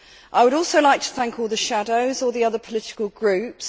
I would also like to thank all the shadows from the other political groups.